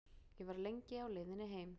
Ég var lengi á leiðinni heim.